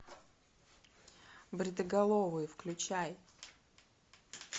бритоголовые включай